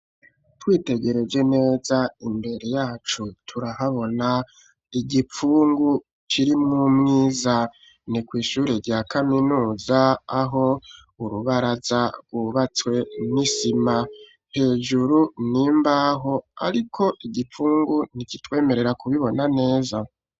Twitegereje neza imbere yacu turahabona igipfungu kirimwo umwiza ni kw'ishure rya kaminuza aho urubaraza rwubatswe n'isima hejuru n'imbaho, ariko igipfungu ntikitwemerera kubibona neza.